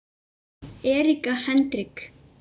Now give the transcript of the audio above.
Erika Hendrik